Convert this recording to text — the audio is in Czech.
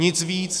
Nic víc.